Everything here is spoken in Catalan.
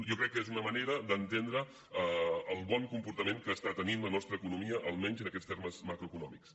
jo crec que és una manera d’entendre el bon comportament que està tenint la nostra economia almenys en aquests termes macroeconòmics